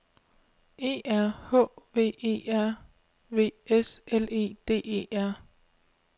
E R H V E R V S L E D E R